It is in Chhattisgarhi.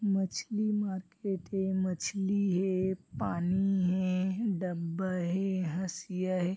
मछली मार्किट हे मछली हे पानी हे डब्बा हे हसिया हे।